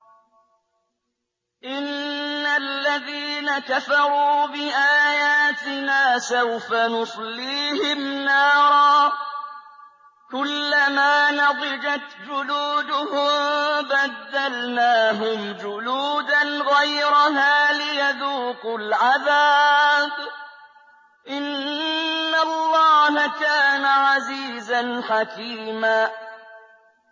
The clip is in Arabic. إِنَّ الَّذِينَ كَفَرُوا بِآيَاتِنَا سَوْفَ نُصْلِيهِمْ نَارًا كُلَّمَا نَضِجَتْ جُلُودُهُم بَدَّلْنَاهُمْ جُلُودًا غَيْرَهَا لِيَذُوقُوا الْعَذَابَ ۗ إِنَّ اللَّهَ كَانَ عَزِيزًا حَكِيمًا